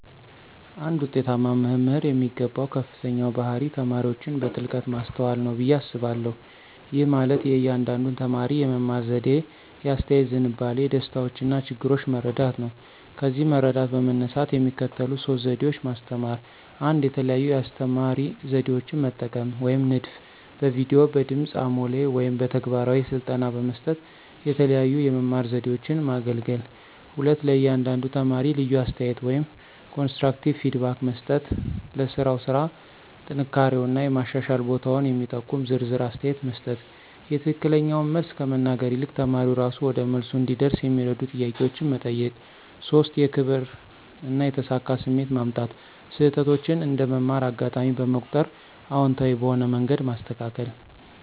አንድ ውጤታማ መምህር የሚገባው ከፍተኛው ባህሪ ተማሪዎችን በጥልቀት ማስተዋል ነው ብዬ አስባለሁ። ይህ ማለት የእያንዳንዱን ተማሪ የመማር ዘዴ፣ የአስተያየት ዝንባሌ፣ ደስታዎችና ችግሮች መረዳት ነው። ከዚህ መረዳት በመነሳት የሚከተሉት ሶስት ዘዴ ማስተማራ 1, የተለያዩ የአስተማራ ዘዴዎችን መጠቀም (ንድፍ)፣ በቪዲዮ፣ በድምጽ አሞሌ ወይም በተግባራዊ ስልጠና በመስጠት የተለያዩ የመማር ዘዴዎችን ማገለገል። 2, ለእያንዳንዱ ተማሪ ልዩ አስተያየት (ኮንስትራክቲቭ ፊድባክ) መስጠት · ለሥራው ስራ ጥንካሬውና የማሻሻል ቦታውን የሚጠቁም ዝርዝር አስተያየት መስጠት።· የትክክለኛውን መልስ ከመናገር ይልቅ ተማሪው እራሱ ወደ መልሱ እንዲደርስ የሚረዱ ጥያቄዎችን መጠየቅ። 3, የክብር እና የተሳካ ስሜት ማምጣት· ስህተቶችን እንደ መማር አጋጣሚ በመቁጠር አዎንታዊ በሆነ መንገድ ማስተካከል።